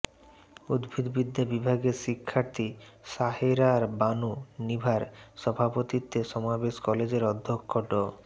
উদ্ভিদবিদ্যা বিভাগের শিক্ষার্থী সাহেরা বানু নিভার সভাপতিত্বে সমাবেশ কলেজের অধ্যক্ষ ড